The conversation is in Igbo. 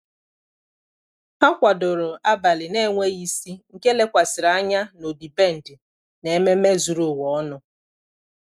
há kwàdòrò ábàlị̀ n’enweghị isi nke lékwasịrị ányá na ọ́dị́bèndị̀ na ememe zùrù ụ́wà ọnụ.